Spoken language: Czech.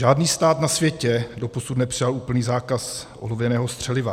Žádný stát na světě doposud nepřijal úplný zákaz olověného střeliva.